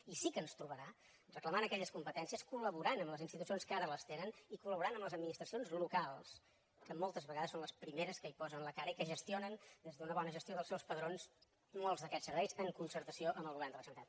i sí que ens trobarà reclamant aquelles competències col·laborant amb les institucions que ara les tenen i collaborant amb les administracions locals que moltes vegades són les primeres que hi posen la cara i que gestionen des d’una bona gestió dels seus padrons molts d’aquests serveis en concertació amb el govern de la generalitat